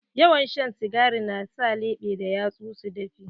Yawan shan sigari na sa leɓe da yatsu su dafe.